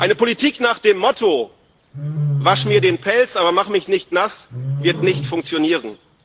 Eine Politik nach dem Motto Wasch mir den Pelz, aber mach mich nicht nass wird nicht funktionieren.